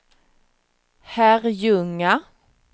Herrljunga